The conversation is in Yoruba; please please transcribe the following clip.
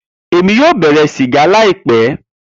Emi yoo bẹrẹ siga laipẹ